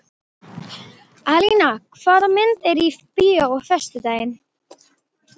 Alíana, hvaða myndir eru í bíó á föstudaginn?